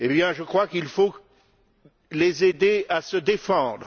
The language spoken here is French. Je crois qu'il faut les aider à se défendre.